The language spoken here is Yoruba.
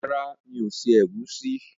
Rárá, mi ò se ẹ̀gúsí.